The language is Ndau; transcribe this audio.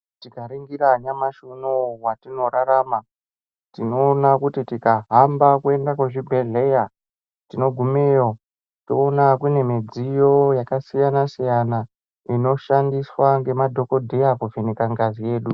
Tikaringira nyamashi uno watinorarama tinoona kuti tikahamba kuende kuzvibhehleya tinogumeyo toona kunemidziyo yakasiyanasiyana inoshandiswa ngemadhokodheya kuvheneka ngazi yedu.